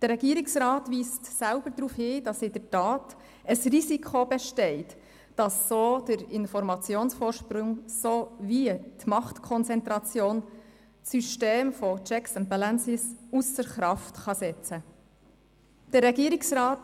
Der Regierungsrat weist selber darauf hin, dass in der Tat das Risiko besteht, dass der Informationsvorsprung sowie die Machtkonzentration das System der Checks and Balances ausser Kraft setzen kann.